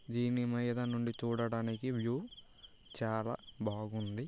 దీని మీద నుండి చూడడానికి వ్యూ చాలా బాగుంది.